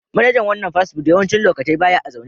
Manajan wanan fast food yawancin lokatai baya a'zaune.